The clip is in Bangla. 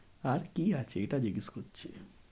আর কি আছে এটা জিজ্ঞেস করছি।